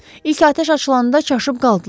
İlk atəş açılanda çaşıb qaldılar.